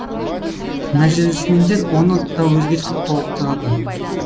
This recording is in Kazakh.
мәжілісмендер оны да өзгертіп толықтырады